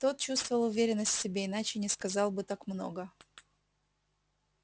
тот чувствовал уверенность в себе иначе не сказал бы так много